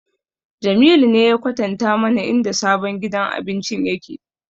Jamilu ne ya kwatanta mana inda sabon gidan abincin yake